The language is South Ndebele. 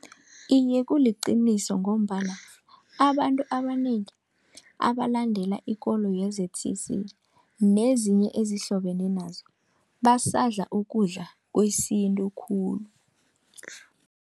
Iye, kuliqiniso ngombana abantu abanengi abalandela ikolo ye-Z_C_C, nezinye ezihlobene nazo basadla ukudla kwesintu khulu.